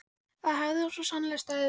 Það hafði hann svo sannarlega staðið við.